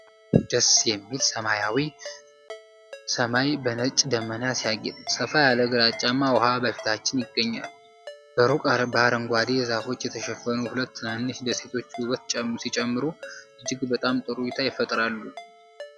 ዋው! ደስ የሚል! ሰማያዊው ሰማይ በነጭ ደመና ሲያጌጥ፣ ሰፋ ያለ ግራጫማ ውሃ በፊታችን ይገኛል። በሩቅ በአረንጓዴ ዛፎች የተሸፈኑ ሁለት ትናንሽ ደሴቶች ውበት ሲጨምሩ፣ እጅግ በጣም ጥሩ እይታ ይፈጥራሉ።